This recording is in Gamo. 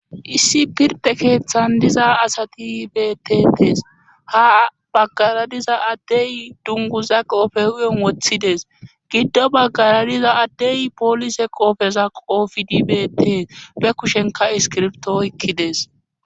issi pirde keeththan diza asati betetes ha baggaradiza addey dunguza qoofe huyon woththides giddo baggaradiza addey poolise qoofeza qoofi dibete be kushenka iskirbto ykkides